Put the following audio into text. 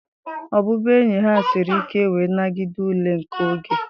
Ọbụbụenyi ha siri ike wee nagide ule nke oge.